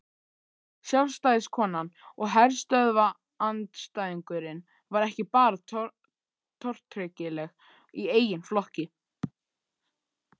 Sjálfstæðiskonan og herstöðvaandstæðingurinn var ekki bara tortryggileg í eigin flokki.